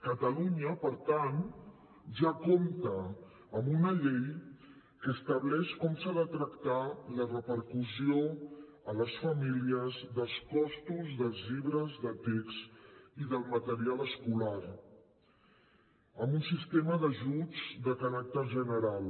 catalunya per tant ja compta amb una llei que estableix com s’ha de tractar la repercussió a les famílies dels costos dels llibres de text i del material escolar amb un sistema d’ajuts de caràcter general